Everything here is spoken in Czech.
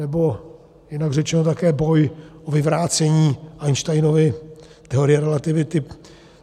Nebo jinak řečeno, také boj o vyvrácení Einsteinovy teorie relativity.